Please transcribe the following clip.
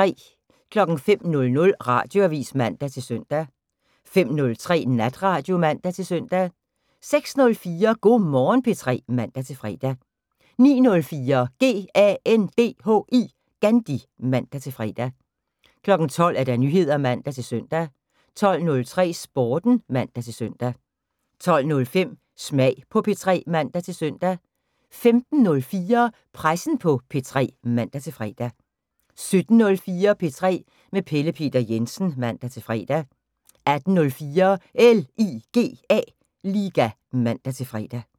05:00: Radioavis (man-søn) 05:03: Natradio (man-søn) 06:04: Go' Morgen P3 (man-fre) 09:04: GANDHI (man-fre) 12:00: Nyheder (man-søn) 12:03: Sporten (man-søn) 12:05: Smag på P3 (man-søn) 15:04: Pressen på P3 (man-fre) 17:04: P3 med Pelle Peter Jensen (man-fre) 18:04: LIGA (man-fre)